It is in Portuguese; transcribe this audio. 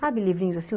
Sabe livrinhos assim?